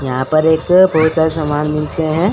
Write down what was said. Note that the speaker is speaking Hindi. यहां पर एक बहुत सारे समान मिलते हैं।